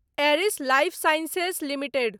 Eris Lifesciences limited